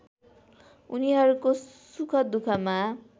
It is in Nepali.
उनीहरूको सुखदुःखमा